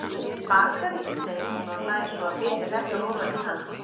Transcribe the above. Bakari, segir hún og hlær svo að biti hrekkur ofan í hana.